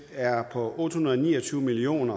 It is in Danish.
er på otte hundrede og ni og tyve million